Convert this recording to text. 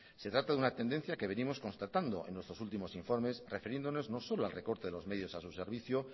se trata de una tendencia que venimos constatando en nuestros últimos informes refiriéndonos no solo al recorte de los medios a su servicio